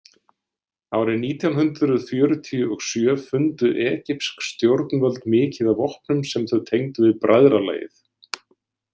Árið nítján hundrað fjörutíu og sjö fundu egypsk stjórnvöld mikið af vopnum sem þau tengdu við bræðralagið.